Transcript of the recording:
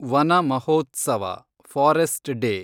Vana Mahotsav , forest day